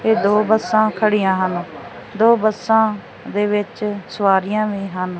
ਇਹ ਦੋ ਬੱਸਾਂ ਖੜੀਆਂ ਹਨ ਦੋ ਬੱਸਾਂ ਦੇ ਵਿੱਚ ਸਵਾਰੀਆਂ ਵੀ ਹਨ।